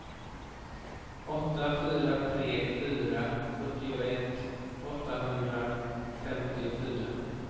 åtta fyra tre fyra sjuttioett åttahundrafemtiofyra